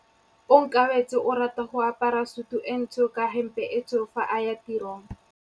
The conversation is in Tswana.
Onkabetse o rata go apara sutu e ntsho ka hempe e tshweu fa a ya tirong.